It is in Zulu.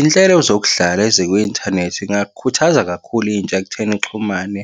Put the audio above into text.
Iy'nhlelo zokudlala ezikwi-inthanethi iy'ngakhuthaza kakhulu intsha ekutheni ixhumane.